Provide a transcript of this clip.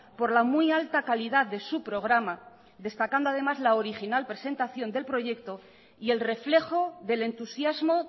por la muy alta calidad de su programa destacando además la original presentación del proyecto y el reflejo del entusiasmo